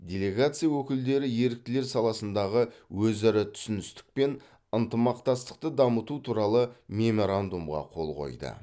делегация өкілдері еріктілер саласындағы өзара түсіністік пен ынтымақтастықты дамыту туралы меморандумға қол қойды